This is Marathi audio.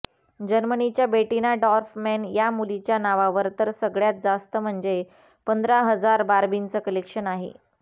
जर्मनीच्या बेटिना डॉर्फमॅन या मुलीच्या नावावर तर सगळ्यात जास्त म्हणजे पंधरा हजार बार्बींचं कलेक्शन आहे